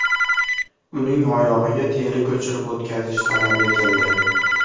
Uning oyog‘iga teri ko‘chirib o‘tkazish talab etildi.